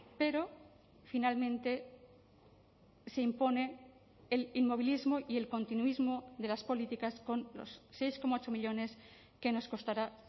pero finalmente se impone el inmovilismo y el continuismo de las políticas con los seis coma ocho millónes que nos costará